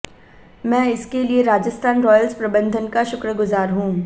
मैं इसके लिए राजस्थान रॉयल्स प्रबंधन का शुक्रगुजार हूं